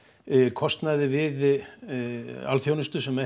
kostnaði við alþjónustu sem